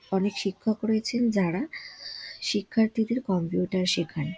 অনেক শিক্ষক রয়েছেন যারা শিক্ষার্থীদের কম্পিউটার শেখায় ।